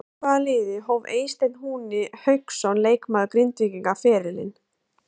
Hjá hvaða liði hóf Eysteinn Húni Hauksson leikmaður Grindvíkinga ferilinn?